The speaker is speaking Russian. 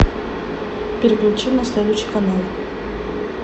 переключи на следующий канал